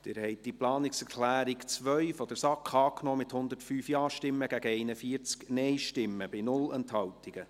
Sie haben die Planungserklärung 2 der SAK angenommen, mit 105 Ja- gegen 41 NeinStimmen bei 0 Enthaltungen.